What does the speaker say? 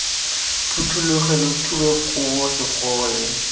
phuthologe lo thube kobo segole